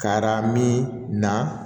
Kara min na